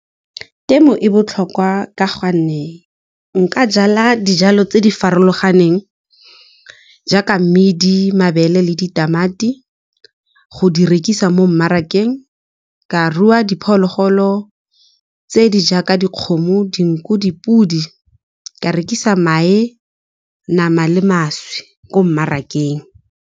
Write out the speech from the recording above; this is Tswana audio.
Temo e botlhokwa ka gonne nka jala dijalo tse di farologaneng jaaka mmidi, mabele le ditamati go di rekisa mo mmarakeng, ka rua diphologolo tse di jaaka dikgomo, dinku, dipodi ka rekisa mae, nama le mašwi ko mmarakeng.